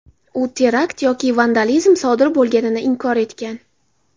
U terakt yoki vandalizm sodir bo‘lganini inkor etgan.